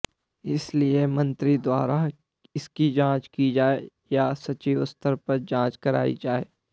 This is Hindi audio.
इसलिए मंत्री द्वारा इसकी जांच की जाए या सचिव स्तर पर जांच कराई जाए